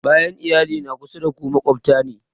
Bayan iyali, na kusa da ku maƙwabta ne